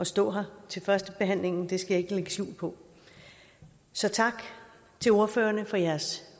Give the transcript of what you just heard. stå her til førstebehandlingen det skal jeg ikke lægge skjul på så tak til ordførerne for deres